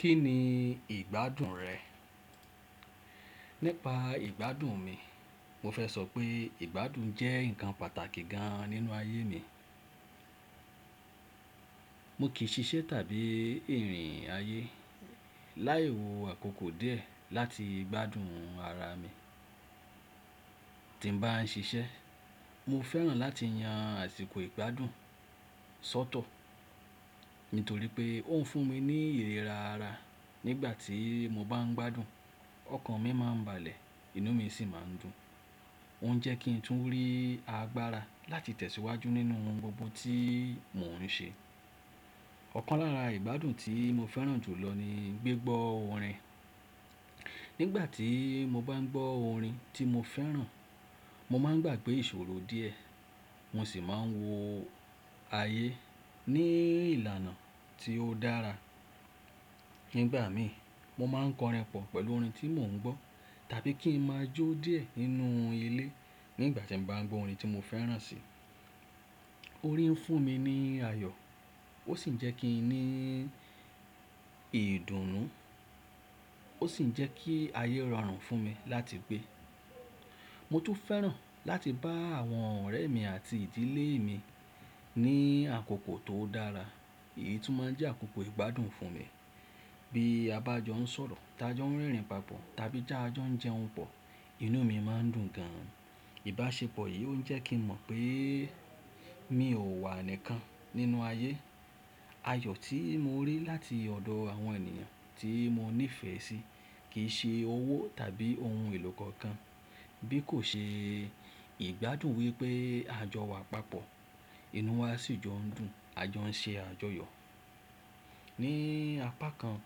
Kí ni ìgbádùn rẹ̀? Nípa ìgbádùn mi, mo fẹ́ sọ pé ìgbádùn jẹ́ nǹkan pàtàkì gan nínú ayé mi. Mo kì í ṣiṣẹ́ tàbí irìn ayé láì wo àkókò díẹ̀ láti gbádùn ara mi. Tí m bá n ṣiṣẹ́, mo fẹ́ràn láti yan àsìkò ìgbádùn sọ́tọ̀, nítorí pé ó ń fún mi ní ìlera ara. Nígbà tí mo bá n gbádùn, ọkàn mi máa ń balẹ̀, inú mi sì máa ń dùn. Ó ń jẹ́ kí n tún rí agbára láti tẹ̀síwájú nínú ohun gbogbo tí mò ń ṣe. Ọ̀kan lára ìgbádùn tí mo fẹ́ràn jùlọ ni gbigbọ́ orin. Nígbà tí mo bá n gbọ́ orin tí mo fẹ́ràn, mo máa ń gbàgbé ìṣòro díẹ̀, mo sì máa ń wo ayé ní ìlànà tí ó dára. Nígbà mí, mo máa ń kọrin pọ̀ pẹ̀lú orin tí mò ń gbọ́ tàbí kí n máa jó díẹ̀ nínú ilé nígbà tí m bá n gbọ́ orin tí mo fẹ́ràn sì. Orin ń fún mi ní ayọ̀, ó sì ń jẹ́ kí n ní ìdùnnú, ó sì ń jẹ́ kí ayé rọrùn fún mi láti gbé. Mo tún fẹ́ràn láti bá àwọn ọ̀rẹ́ mi àti ìdílé mi ní àkókò tó dára. Èyí tún máa ń jẹ́ àkókò ìgbádùn fún mi. Bí a bá jọ ń sọ̀rọ̀, taa jọ ń rẹrìn papọ̀ tàbí ta jọ ń jẹun pọ̀, inú mi máa ń dùn gan. Ìbáṣepọ̀ yìí ó jẹ́ kí n mọ̀ pé mi ò wà nìkan nínú ayé. Ayọ̀ tí mo rí láti ọ̀dọ̀ àwọn ènìyàn tí mo nífẹ́ sí kì í ṣe owó tàbí ohun èlò kankan bí kò ṣe ìgbádùn wípé a jọ wà papọ̀, inú wa sì jọ ń dùn, a jọ ń ṣe àjọyọ̀. Ni apá kan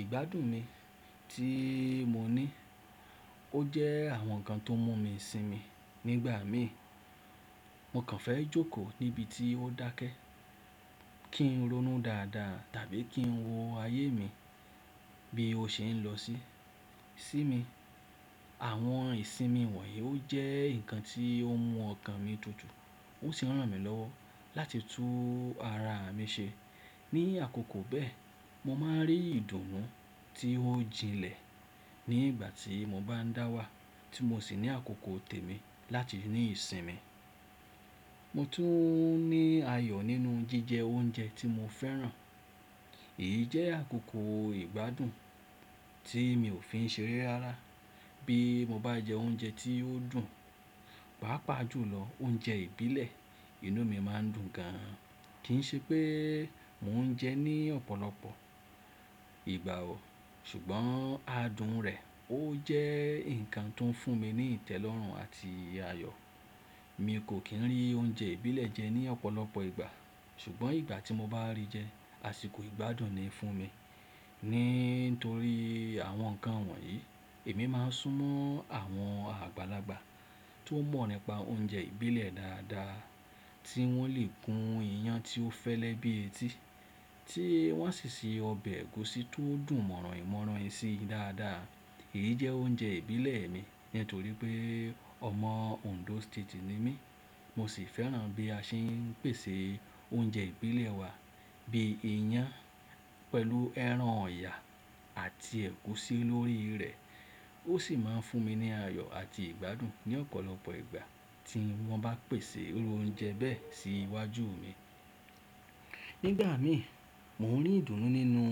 ìgbádùn mi tí mo ní, ó jẹ́ àwọn nǹkan tó mú mi sinmi. Nígbà mí, mo kàn fẹ́ jókòó níbi tí ó dákẹ́, kí n ronú dáadáa tàbí kí n wo ayé mi bí ó ṣe ń lọ sí mi. Àwọn ìsinmi wọ̀nyí ó jẹ́ nǹkan tí ó mú ọkàn mi tutù, ó sì n ran mí lọ́wọ́ láti tún ara mi ṣe. Ni àkókò bẹ́ẹ̀, mo máa ń rí ìdùnnú tí ó jinlẹ̀ nígbà tí mo bá ń dáwà tí mo sì ní àkókò tèmi láti ní ìsinmi. Mo tún ní ayọ̀ nínú jíjẹ oúnjẹ tí mo fẹ́ràn. Èyí jẹ́ àkókò ìgbádùn tí mi ò fi ń ṣere rara. Bí mo bá jẹ oúnjẹ tí ó dùn, pàápàá jùlọ oúnjẹ ìbílẹ̀, inú mi máa ń dùn gan. Kì ń ṣe pé mò ń jẹ ẹ́ ní ọ̀pọ̀lọpọ̀ ìgbà o, ṣùgbọ́n adùn rẹ̀ ó jẹ́ nǹkan tó ń fún mi ní ìtẹ́lọ́rùn àti ayọ̀. Mi kò kí ń rí oúnjẹ ìbílẹ̀ jẹ ní ọ̀pọ̀lọpọ̀ ìgbà, ṣùgbọ́n ìgbà tí mo bá rí jẹ, àsìkò ìgbádùn ni fún mi. Nítorí àwọn nǹkan wọ̀nyí, èmi máa ń sún mọ́ àwọn àgbàlagbà tó mọ̀ nípa oúnjẹ ìbílẹ̀ dáadáa tí wọ́n lè gún ìyàn tí ó fẹ́lẹ́ bí etí, tí wọ́n a sì se ọbẹ̀ ẹ̀gúsí tó dùn mọ̀ràin mọ̀ràin sí dáadáa. Èyí jẹ́ oúnjẹ ìbílẹ̀ mi nítorí pé ọmọ Ondo State ni mí. Mo sì fẹ́ràn bí a ṣe ń pèsè oúnjẹ ìbílẹ̀ wa bí i ìyàn pẹ̀lú ẹran ọ̀yà àti ẹ̀gúsí lórí rẹ̀. Ó sì máa ń fún mi ní ayọ̀ àti ìgbádùn ní ọ̀pọ̀lọpọ̀ ìgbà tí wọ́n bá pèsè irú oúnjẹ bẹ́ẹ̀ sí iwájú mi. Nígbà mí, mò ń rí ìdùnnú nínú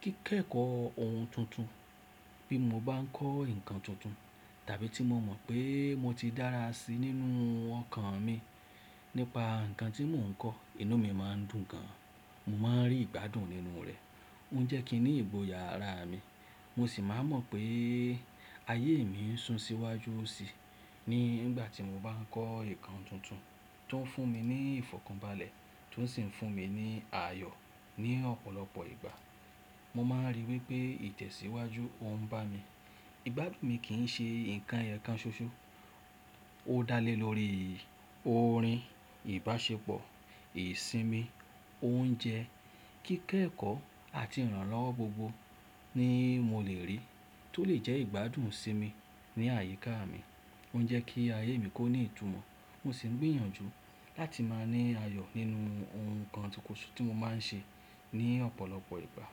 kíkẹ́kọ̀ọ́ ohun tuntun. Bí mo bá ń kọ́ nǹkan tuntun tàbí tí mo mọ̀ pé mo ti dára sí i nínú ọkàn mi nípa nǹkan tí mò ń kọ́, inú mi máa ń dùn gan. Mo máa ń rí ìgbádùn nínú rẹ̀. Ó ń jẹ́ kí n ní ìgboyà rá mi. Mo sì máa n mọ̀ pé ayé mi ń sùn síwájú sì nígbà tí mo bá ń kọ́ nǹkan tuntun tó ń fún mi ní ìfọ̀kànbalẹ̀ tó sì ń fún mi ní ayọ̀ ní ọ̀pọ̀lọpọ̀ ìgbà. Mo máa ń rí wípé ìtẹ̀síwájú ò ń bà mi. Ìgbádùn mi kì n ṣe nǹkan ẹyọkan ṣoṣo. Ó dá lé lórí orin, ìbáṣepọ̀, ìsinmi, oúnjẹ, kíkẹ́kọ̀ọ́ àti ìrànlọ́wọ́ gbogbo ni mo lè rí tó lè jẹ́ ìgbádùn sí mi ní àyíká mi. Ó ń jẹ́ kí ayé mi kó ní ìtumọ̀, mo sì ń gbìyànjú láti máa ní ayọ̀ nínú ohun kan ṣoṣo tí mo máa ń ṣe ní ọ̀pọ̀lọpọ̀ ìgbà.